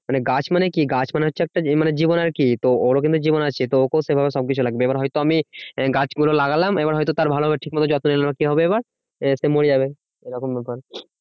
মানে গাছ মানে কি? গাছ মানে হচ্ছে একটা জী~জীবন আরকি। তো ওরও কিন্তু জীবন আছে তো ওকেও সেভাবে সবকিছু লাগবে। এবার হয়তো আমি গাছ গুলো লাগলাম এবার হয়তো তার ভালোভাবে ঠিকমতো যত্ন নিলো না। কি হবে এবার সে মরে যাবে এরকম ব্যাপার।